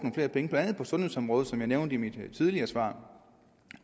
sundhedsområdet som jeg nævnte i mit tidligere svar